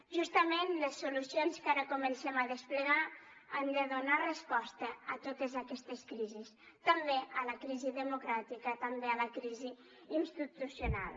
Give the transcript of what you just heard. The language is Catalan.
justament les solucions que ara comencem a desplegar han de donar resposta a totes aquestes crisis també a la crisi democràtica també a la crisi institucional